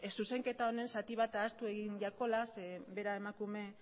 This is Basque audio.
zuzenketa honen zati ahaztu egin zaiola zeren bera emakume